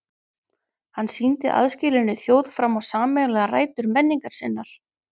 Hann sýndi aðskilinni þjóð fram á sameiginlegar rætur menningar sinnar.